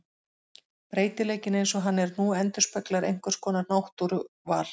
Breytileikinn eins og hann er nú endurspeglar einhvers konar náttúruval.